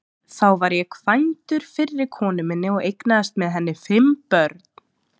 Þá var ég kvæntur fyrri konu minni og eignaðist með henni fimm börn.